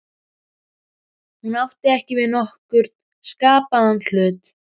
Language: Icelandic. Hún átti ekki við nokkurn skapaðan hlut.